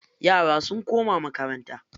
Yara sun koma makaranta.